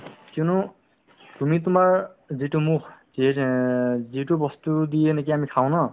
কিয়নো তুমি তোমাৰ যিটো মুখ যিয়ে যিটো বস্তুই দিয়ে নেকি আমি খাওঁ ন